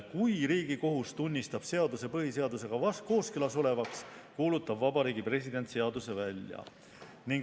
Kui Riigikohus tunnistab seaduse põhiseadusega kooskõlas olevaks, kuulutab Vabariigi President seaduse välja.